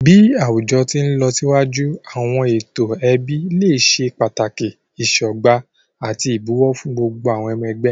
Bi awujọ ti nlọsiwaju, awọn eto ẹbi le ṣe pataki isọgba ati ibowo fun gbogbo awọn ọmọ ẹgbẹ.